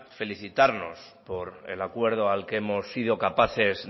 felicitarnos por el acuerdo al que hemos sido capaces